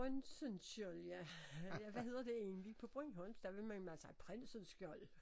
Printzensköld ja hvad hedder det egentlig på bornholmsk der ville man have sagt prinsensskjold